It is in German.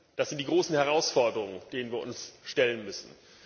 Das sind die großen Herausforderungen, denen wir uns stellen müssen.